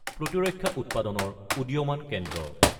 প্ৰতিৰক্ষা উৎপাদনৰ উদীয়মান কেন্দ্ৰ।